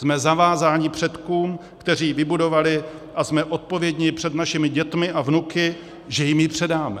Jsme zavázáni předkům, kteří ji vybudovali, a jsme odpovědní před našimi dětmi a vnuky, že jim ji předáme.